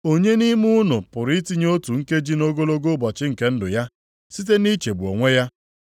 Onye nʼime unu pụrụ itinye otu nkeji nʼogologo ụbọchị nke ndụ ya site nʼichegbu onwe ya?